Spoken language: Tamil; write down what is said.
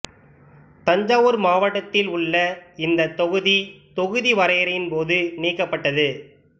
தஞ்சாவூர் மாவட்டத்தில் உள்ள இந்த தொகுதி தொகுதி வரையறையின் போது நீக்கப்பட்டது